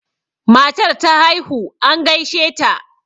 matar ta haihu an gaishe ta